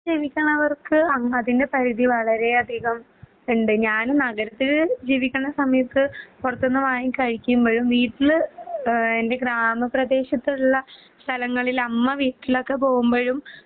ജീവിക്കണവർക്ക് അഹ് അതിന്സൈഡിൽ വളരെയധികം ഉണ്ട്. ഞാനും നഗരത്തിൽ ജീവിക്കുന്ന സമയത്ത് പുറത്തൂന്ന് വാങ്ങി കഴിക്കുമ്പഴും വീട്ടില് ഏഹ് എൻ്റെ ഗ്രാമപ്രദേശത്തുള്ള സ്ഥലങ്ങളിൽ അമ്മ വീട്ടിലൊക്കൊ പോകുമ്പഴും